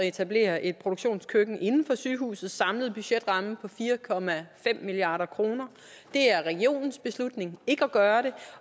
etablere et produktionskøkken inden for sygehusets samlede budgetramme på fire milliard kroner det er regionens beslutning ikke at gøre det